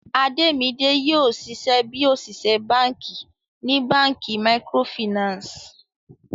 Ademide yoo ṣiṣẹ bi oṣiṣẹ banki ni banki micro Finance.